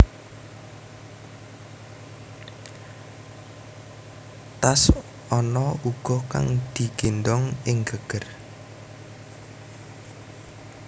Tas ana uga kang digéndhong ing geger